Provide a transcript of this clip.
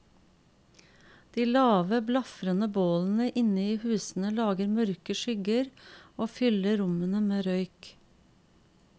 De lave, blafrende bålene inne i husene lager mørke skygger, og fyller rommene med røyk.